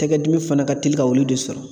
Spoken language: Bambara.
Tɛkɛ dimi fana ka teli ka ulu de sɔrɔ.